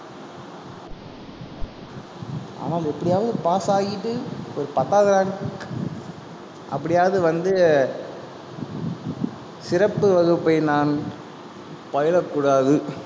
ஆனால் எப்படியாவது pass ஆயிட்டு ஒரு பத்தாவது rank அப்படியாவது வந்து, சிறப்பு வகுப்பை நான் பயிலக்கூடாது.